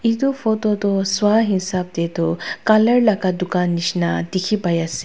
etu photo tu sua hisab te tu colour laga dukan nisna dekhi pai ase.